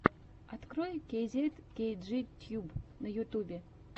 открой кейзет кейджи тьюб на ютубе